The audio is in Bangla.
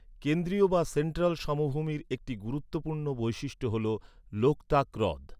কেন্দ্রীয় বা সেন্ট্রাল সমভূমির একটি গুরুত্বপূর্ণ বৈশিষ্ট্য হল লোকতাক হ্রদ।